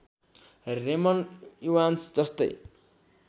Raymond Evans जस्तै